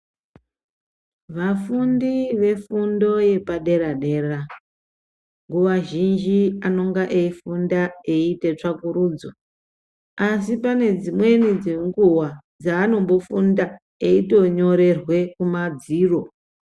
Vakundi vefundo yepadera-dera, nguva zhinji vanenge veifunda veiita tsvakurudzo, asi pane dzimweni dzenguva dzaanombofunda, eitonyorerwe kumadziro.